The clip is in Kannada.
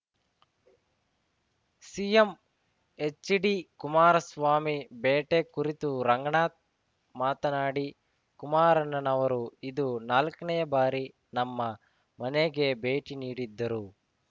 ಸಿಎಂ ಎಚ್‌ಡಿಕುಮಾರಸ್ವಾಮಿ ಭೇಟೆ ಕುರಿತು ರಂಗನಾಥ್‌ ಮಾತನಾಡಿ ಕುಮಾರಣ್ಣನವರು ಇದು ನಾಲ್ಕನೇ ಬಾರಿ ನಮ್ಮ ಮನೆಗೆ ಭೇಟಿ ನೀಡಿದ್ದರು